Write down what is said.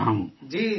جی... جی سر